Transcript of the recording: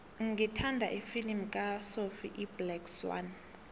ngithanda ifilimu kasophie iblack swann